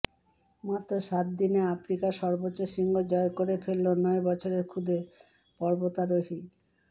মাত্র সাত দিনে আফ্রিকার সর্বোচ্চ শৃঙ্গ জয় করে ফেলল নয় বছরের খুদে পর্বতারোহী